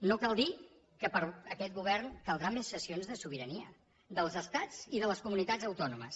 no cal dir que per a aquest govern caldran més cessions de sobirania dels estats i de les comunitats autònomes